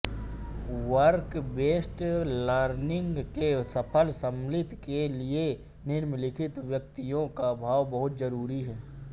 work based learning के सफल समाप्ति के लिए निम्नलिखित व्यक्तियों का भाग बहुत ज़रूरी है